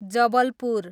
Jabalpur